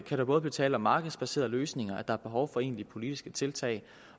der både blive tale om markedsbaserede løsninger der behov for egentlige politiske tiltag